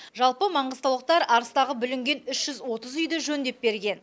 жалпы маңғыстаулықтар арыстағы бүлінген үш жүз отыз үйді жөндеп берген